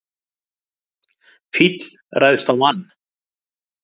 Fíll ræðst á mann